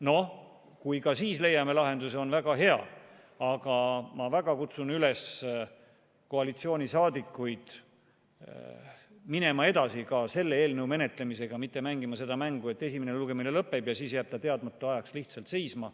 Noh, kui ka siis leiame lahenduse, on väga hea, aga ma väga kutsun koalitsioonisaadikuid üles minema edasi selle eelnõu menetlemisega, mitte mängima seda mängu, et esimene lugemine lõpeb ja siis jääb eelnõu teadmata ajaks lihtsalt seisma.